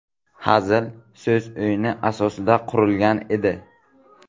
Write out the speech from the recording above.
Hazil so‘z o‘yini asosiga qurilgan edi.